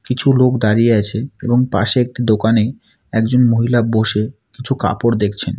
কিছু লোক দাঁড়িয়ে আছে এবং পাশে একটি দোকানে একজন মহিলা বসে কিছু কাপড় দেখছেন।